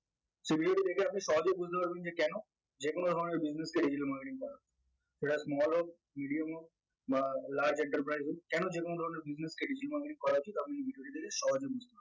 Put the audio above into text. সেই video টা দেখে আপনি সহজেই বুঝতে পারবেন যে কেন যে কোনো ধরনের business এই digital marketing সেটা small হোক medium হোক বা large enterprise হোক কেন যে কোনো ধরনের business কে digital marketing করা উচিত আপনি video টি দেখে সহজে বুঝতে পারবেন